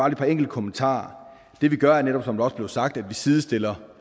et par enkelte kommentarer det vi gør er netop som der også blev sagt at vi sidestiller